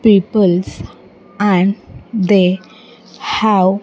Peoples and they have --